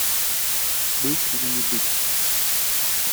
быть или не быть